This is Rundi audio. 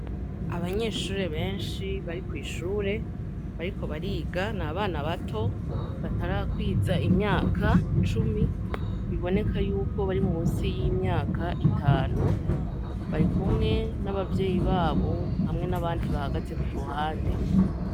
Abanyeshurure benshi bari kw'ishure bari ko bariga ni abana bato batarakwiza imyaka cumi biboneka yuko bari mu si y'imyaka itanu bari kumwe n'abavyeyi babo hamwe n'abandi bahagaze ku ruhande.